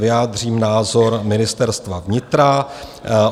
Vyjádřím názor Ministerstva vnitra.